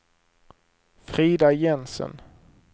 Frida Jensen